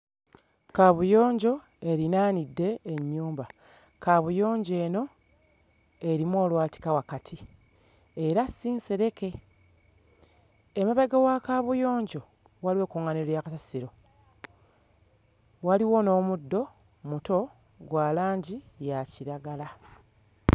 Kaabuyonjo erinaanidde ennyumba. Kaabuyonjo eno erimu olwatika wakati era si nsereke. Emabega wa kaabuyonjo waliwo ekuŋŋaaniro lya kasasiro. Waliwo n'omuddo omuto gwa langi ya kiragala.